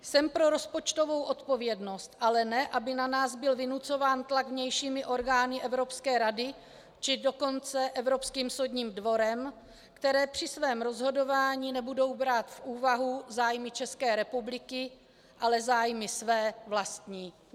Jsem pro rozpočtovou odpovědnost, ale ne aby na nás byl vynucován tlak vnějšími orgány Evropské rady, či dokonce Evropským soudním dvorem, které při svém rozhodování nebudou brát v úvahu zájmy České republiky, ale zájmy své, vlastní.